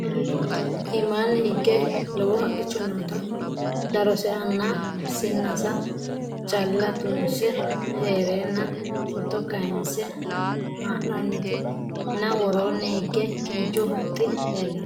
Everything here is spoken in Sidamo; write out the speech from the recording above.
Imani hige lowo haqicho nootta darose nna sinnase calla tunse heerenna footto kayiinse haa'noonnitti nna wooronni hige kinchu huxxi leelanno